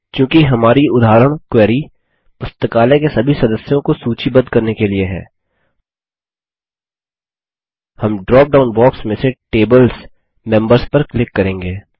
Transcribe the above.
चूँकि हमारी उदाहरण क्वेरी पुस्तकालय के सभी सदस्यों को सूचीबद्ध करने के लिए है हम ड्रॉप डाउन बॉक्स में से Tables मेंबर्स पर क्लिक करेंगे